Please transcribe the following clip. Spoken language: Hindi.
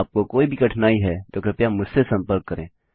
आपको कोई भी कठिनाई है तो कृपया मुझसे संपर्क करें